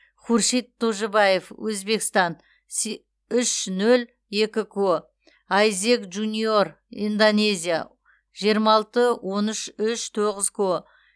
хуршид тожибаев өзбекстан үш нөл екі ко айзек джуниор индонезия жиырма алты он үш үш тоғыз ко